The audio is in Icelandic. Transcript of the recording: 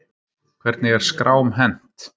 Hvernig er skrám hent?